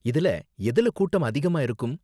இதுல எதுல கூட்டம் அதிகமா இருக்கும்?